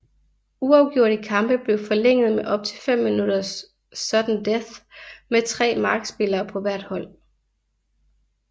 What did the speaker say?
Uafgjorte kampe blev forlænget med op til 5 minutters sudden death med tre markspillere på hvert hold